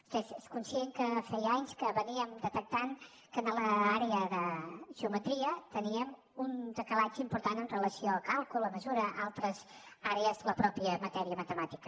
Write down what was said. vostè és conscient que feia anys que detectàvem que en l’àrea de geometria teníem un decalatge important en relació amb càlcul amb mesura altres àrees de la mateixa matèria matemàtica